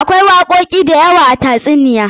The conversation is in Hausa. Akwai wakoki da yawa a tatsuniyoyi.